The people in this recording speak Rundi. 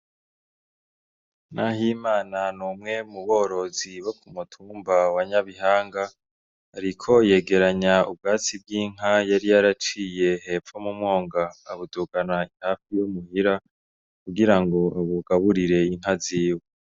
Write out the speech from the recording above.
Nahimana ni umwe mu borozi bo ku mutumba wa Nyabihanga, ariko yegeranya ubwatsi bw'inka yari yaraciye hepfo mu mwonga awudugana hafi yo muhira kugira ngo abugaburire inka ziwe.